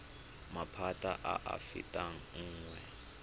maphata a a fetang nngwe